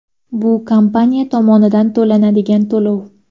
Bu kompaniya tomonidan to‘lanadigan to‘lov.